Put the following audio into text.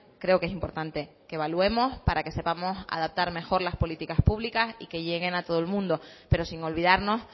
creo que es importante que evaluemos para que sepamos adaptar mejor las políticas públicas y que lleguen a todo el mundo pero sin olvidarnos